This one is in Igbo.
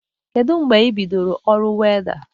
Kedụ mbge ị bidoro ọru wọda?